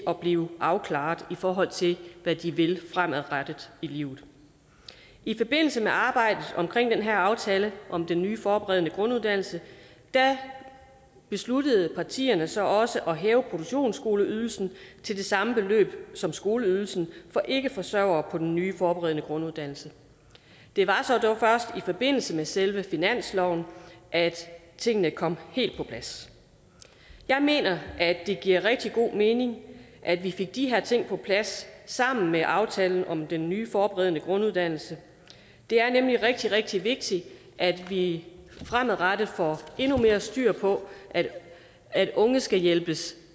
at blive afklaret i forhold til hvad de vil fremadrettet i livet i forbindelse med arbejdet om den her aftale om den nye forberedende grunduddannelse besluttede partierne så også at hæve produktionsskoleydelsen til det samme beløb som skoleydelsen for ikkeforsørgere på den nye forberedende grunduddannelse det var så dog først i forbindelse med selve finansloven at tingene kom helt på plads jeg mener at det giver rigtig god mening at vi fik de her ting på plads sammen med aftalen om den nye forberedende grunduddannelse det er nemlig rigtig rigtig vigtigt at vi fremadrettet får endnu mere styr på at at unge skal hjælpes